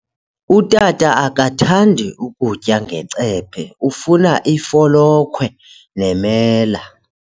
Utata akathandi kutya ngecephe, ufuna ifolokhwe nemela.